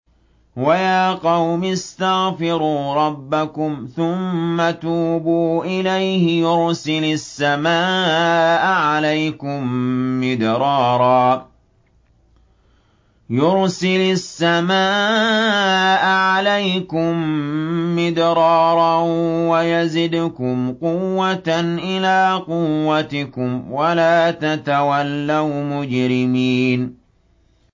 وَيَا قَوْمِ اسْتَغْفِرُوا رَبَّكُمْ ثُمَّ تُوبُوا إِلَيْهِ يُرْسِلِ السَّمَاءَ عَلَيْكُم مِّدْرَارًا وَيَزِدْكُمْ قُوَّةً إِلَىٰ قُوَّتِكُمْ وَلَا تَتَوَلَّوْا مُجْرِمِينَ